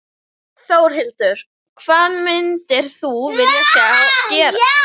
Þórhildur: Hvað myndir þú vilja sjá gerast?